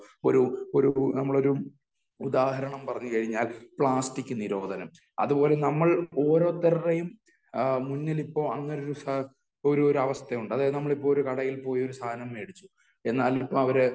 ഒരു ഒരു നമ്മളൊരു ഉദാഹരണം പറഞ്ഞു കഴിഞ്ഞാൽ , പ്ലാസ്റ്റിക് നിരോധനം അത് പോലെ നമ്മൾ ഓരോരുത്തരുടെയും മുന്നിലിപ്പോ അങ്ങനെ ഒരു ഒരു ഒരാവസ്ഥയുണ്ട്. നമ്മളിപ്പോ കടയിൽ പോയി ഒരു സാധനം മേടിച്ചു